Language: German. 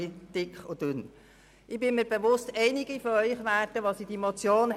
Hier drin wird sie langsam dick und dünn.